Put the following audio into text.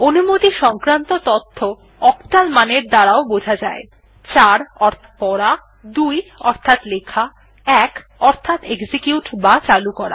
অনুমতি সংক্রান্ত তথ্য অক্টাল মানের দ্বারা বোঝা যায় ৪ অর্থাৎ পড়া ২ অর্থাৎ লেখা ১ অর্থাৎ এক্সিকিউট বা চালু করা